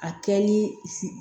A kɛ ni